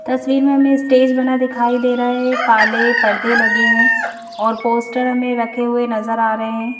तस्वीर में हमें स्टेज बना दिखाई दे रहा है काले पर्दे लगे हैं और पोस्टर हमें रखे हुए नजर आ रहे हैं।